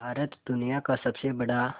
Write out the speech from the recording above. भारत दुनिया का सबसे बड़ा